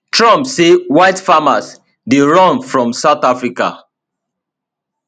trump say white farmers dey run from south africa